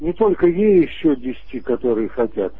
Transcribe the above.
не только ей ещё десяти которые хотят